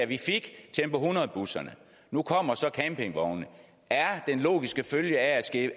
vi fik tempo hundrede busserne nu kommer så campingvogne og er den logiske følge af det